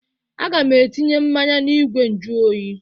Aga m etinye mmanya n'igwe njụ oyi.